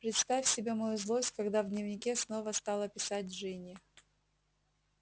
представь себе мою злость когда в дневнике снова стала писать джинни